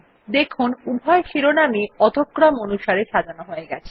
দেখুন উভয় শিরোনামই অধ ক্রম অনুসারে সাজানো হয়ে গেছে